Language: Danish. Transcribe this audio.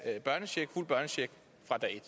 er derfor jeg siger